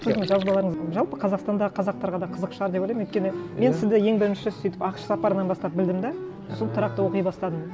сіздің жазбаларыңыз жалпы қазақстанда қазақтарға да қызық шығар деп ойлаймын өйткені мен сізді ең бірінші сөйтіп ақш сапарынан бастап білдім де сосын тұрақты оқи бастадым